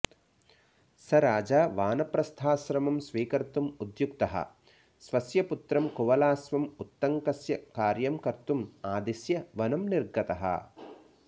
स राजा वानप्रस्थआश्रमं स्वीकर्तुं उद्युक्तः स्वस्य पुत्रं कुवलाश्वं उत्तङ्कस्य कार्यं कर्तुं आदिश्य वनं निर्गतः